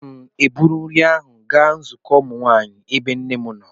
Aga m eburu nri ahụ gaa nzukọ ụmụ nwanyị, ebe nne m nọ.